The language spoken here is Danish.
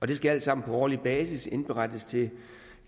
det skal alt sammen på årlig basis indberettes til